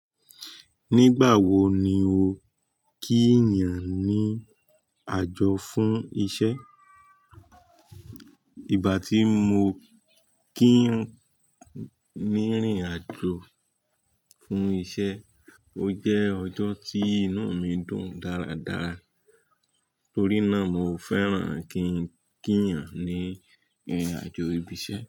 Nígbà wo ni o kí ènìyàn ní àjọ fún isẹ́? Ìgbà tí mo kí ń ní rìn àjò fún isẹ́, ó jẹ́ ọjọ́ tí inú mi dùn dáradára, torí náà mo fẹ́ràn kí ń kí ènìyàn ní irin àjò ibi isẹ́